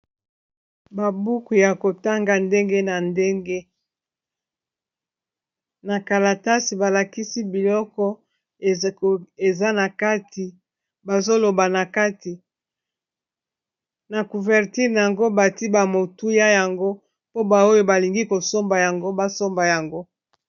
babuku ya kotanga ndenge na ndenge na kalatase balakisi biloko eza na kati bazoloba na kati na couvertile na yango bati ba motuya yango mpo baoyo balingi kosomba yango basomba yango